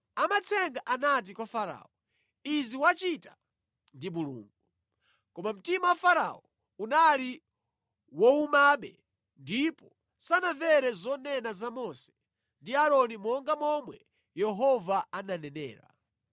Amatsenga anati kwa Farao, “Izi wachita ndi Mulungu.” Koma mtima wa Farao unali wowumabe ndipo sanamvere zonena za Mose ndi Aaroni monga momwe Yehova ananenera.